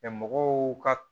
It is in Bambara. mɔgɔw ka